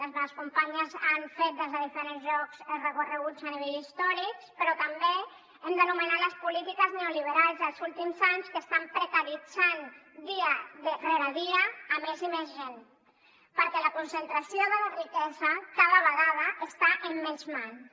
les meves companyes han fet des de diferents llocs recorreguts a nivell històrics però també hem d’anomenar les polítiques neoliberals dels últims anys que estan precaritzant dia rere dia més i més gent perquè la concentració de la riquesa cada vegada està en menys mans